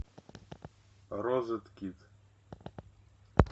розеткед